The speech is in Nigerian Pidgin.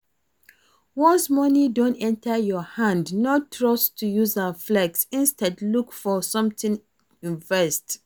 Once money don enter your hand, no rust to use am flex, instead look for something invest